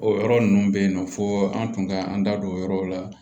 O yɔrɔ ninnu bɛ yen nɔ fo an tun ka an da don o yɔrɔw la